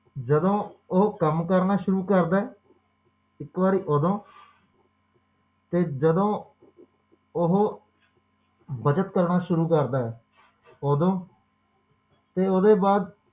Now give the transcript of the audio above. ਜਦੋ ਓਹੋ ਕੰਮ ਕਰਨਾ ਸ਼ੁਰੂ ਕਰਦਾ ਇੱਕ ਵਾਰੀ ਓਦੋ ਤੇ ਜਦੋ ਓਹੋ ਬੱਚਤ ਕਰਨਾ ਸ਼ੁਰੂ ਕਰਦਾ ਹੈ ਓਦੋ ਤੇ ਓਦੇ ਬਾਅਦ